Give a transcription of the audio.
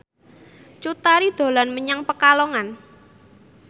Cut Tari dolan menyang Pekalongan